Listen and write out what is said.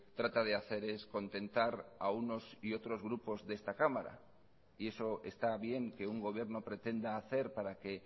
trata de hacer es contentar a unos y otros grupos de esta cámara y eso está bien que un gobierno pretenda hacer para que